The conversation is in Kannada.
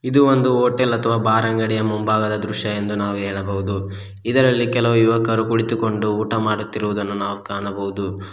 ಇದು ಒಂದು ಹೋಟೆಲ್ ಅಥವಾ ಬಾರ್ ಅಂಗಡಿಯ ಮುಂಭಾಗದ ದೃಶ್ಯ ಎಂದು ನಾವು ಹೇಳಬಹುದು ಇದರಲ್ಲಿ ಕೆಲವು ಯುವಕರು ಕುಳಿತುಕೊಂಡು ಊಟ ಮಾಡುತ್ತಿರುವುದನ್ನು ನಾವು ಕಾಣಬಹುದು.